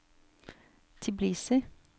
Tbilisi